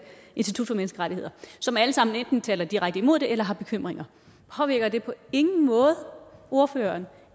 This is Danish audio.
institut for menneskerettigheder som alle sammen enten taler direkte imod det eller har bekymringer påvirker det på ingen måde ordføreren